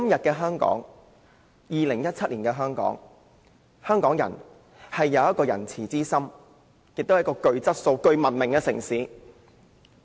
在2017年的香港，香港人有仁慈之心，香港也是一個具質素和文明的城市。